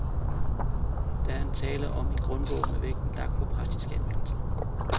Der er tale om en grundbog med vægten lagt på praktisk anvendelse.